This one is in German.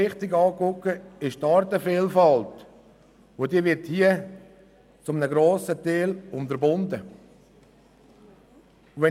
Wichtig ist uns auch die Artenvielfalt, die hierbei zu einem grossen Teil unterbunden wird.